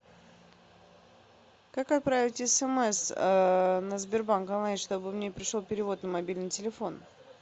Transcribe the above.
как отправить смс на сбербанк онлайн чтобы мне пришел перевод на мобильный телефон